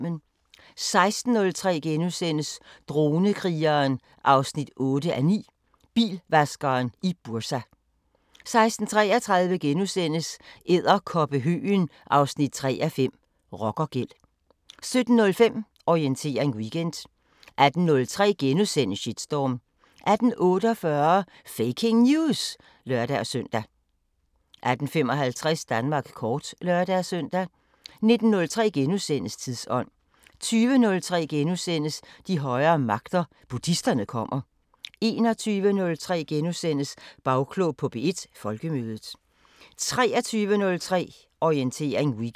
16:03: Dronekrigeren 8:9 – Bilvaskeren i Bursa * 16:33: Edderkoppehøgen 3:5 – Rockergæld * 17:05: Orientering Weekend 18:03: Shitstorm * 18:48: Faking News! (lør-søn) 18:55: Danmark kort (lør-søn) 19:03: Tidsånd * 20:03: De højere magter: Buddhisterne kommer * 21:03: Bagklog på P1: Folkemødet * 23:03: Orientering Weekend